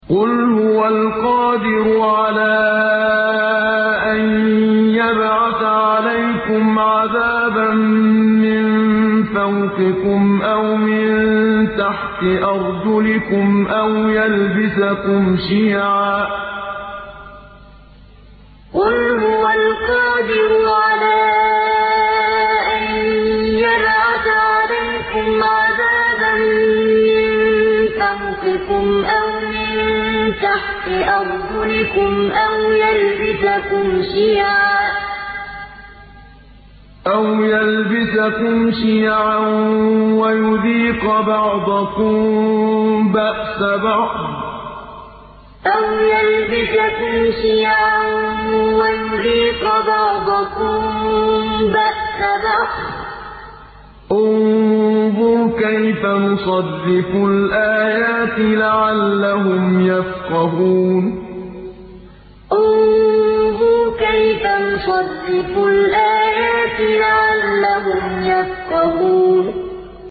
قُلْ هُوَ الْقَادِرُ عَلَىٰ أَن يَبْعَثَ عَلَيْكُمْ عَذَابًا مِّن فَوْقِكُمْ أَوْ مِن تَحْتِ أَرْجُلِكُمْ أَوْ يَلْبِسَكُمْ شِيَعًا وَيُذِيقَ بَعْضَكُم بَأْسَ بَعْضٍ ۗ انظُرْ كَيْفَ نُصَرِّفُ الْآيَاتِ لَعَلَّهُمْ يَفْقَهُونَ قُلْ هُوَ الْقَادِرُ عَلَىٰ أَن يَبْعَثَ عَلَيْكُمْ عَذَابًا مِّن فَوْقِكُمْ أَوْ مِن تَحْتِ أَرْجُلِكُمْ أَوْ يَلْبِسَكُمْ شِيَعًا وَيُذِيقَ بَعْضَكُم بَأْسَ بَعْضٍ ۗ انظُرْ كَيْفَ نُصَرِّفُ الْآيَاتِ لَعَلَّهُمْ يَفْقَهُونَ